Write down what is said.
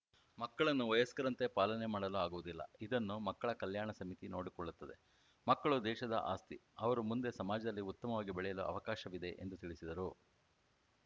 ಮಕ್ಕಳನ್ನು ವಯಸ್ಕರಂತೆ ಪಾಲನೆ ಮಾಡಲು ಆಗುವುದಿಲ್ಲ ಇದನ್ನು ಮಕ್ಕಳ ಕಲ್ಯಾಣ ಸಮಿತಿ ನೋಡಿಕೊಳ್ಳುತ್ತದೆ ಮಕ್ಕಳು ದೇಶದ ಆಸ್ತಿ ಅವರು ಮುಂದೆ ಸಮಾಜದಲ್ಲಿ ಉತ್ತಮವಾಗಿ ಬೆಳೆಯಲು ಅವಕಾಶವಿದೆ ಎಂದು ತಿಳಿಸಿದರು